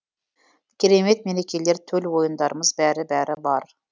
керемет мерекелер төл ойындарымыз бәрі бәрі бар